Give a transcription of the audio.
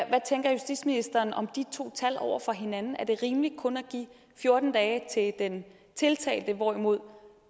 tænker justitsministeren om de to tal over for hinanden er det rimeligt kun at give fjorten dage den tiltalte hvorimod